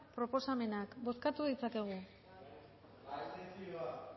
proposamenak bozkatu dezakegu